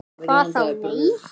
"""Hvað þá., nei."""